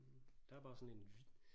Der er bare sådan en